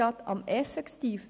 Das Zitat geht weiter.